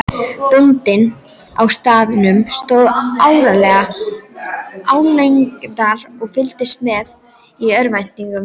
Bóndinn á staðnum stóð álengdar og fylgdist með í örvæntingu.